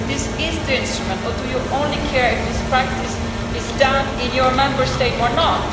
This is the instrument or do you only care if this practice is done in your Member State or not?